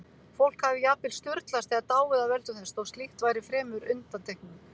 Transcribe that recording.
Fólk hafði jafnvel sturlast eða dáið af völdum þess, þó slíkt væri fremur undantekning.